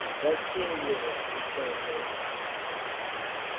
затейлива отвечал я ему